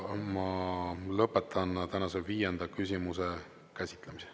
Ma lõpetan tänase viienda küsimuse käsitlemise.